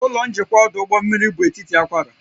Ụlọ njikwa ọdụ ụgbọ mmiri bụ etiti akwara